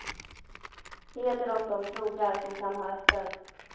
Heder åt de krogar som kan ha öppet.